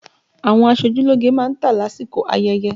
Àwọn aṣojúlógé má ń tà lásìkò ayẹyẹ